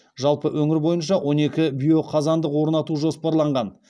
жалпы өңір бойынша он екі биоқазандық орнату жоспарланған